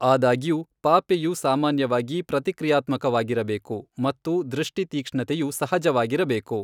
ಆದಾಗ್ಯೂ, ಪಾಪೆಯು ಸಾಮಾನ್ಯವಾಗಿ ಪ್ರತಿಕ್ರಿಯಾತ್ಮಕವಾಗಿರಬೇಕು ಮತ್ತು ದೃಷ್ಟಿ ತೀಕ್ಷ್ಣತೆಯು ಸಹಜವಾಗಿರಬೇಕು.